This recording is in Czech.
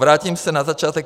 Vrátím se na začátek.